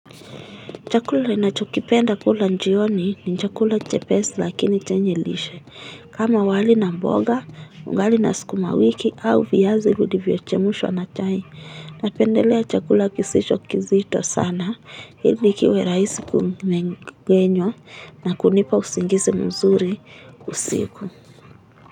Chakula ninachokipenda kula jioni ni chakula chepesi lakini chenye lishe. Kama wali na mboga, ugali na sukumawiki au viazi vilivyo chemshwa na chai. Napendelea chakula kisisho kizito sana ili kiwe rahisi kumengenywa na kunipa usingizi mzuri usiku.